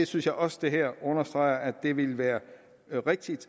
synes også det her understreger at det ville være rigtigt